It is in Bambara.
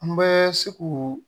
An bɛ se k'u